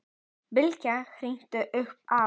Bylgja hringdi upp á